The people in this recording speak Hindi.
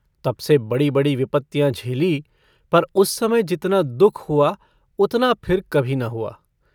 तब से बड़ी-बड़ी विपत्तियाँ झेलीं, पर उस समय जितना दुःख हुआ उतना फिर कभी न हुआ।